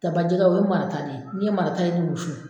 Ta bajɛgɛ ye o ye marata de ye n ye marata in de wusu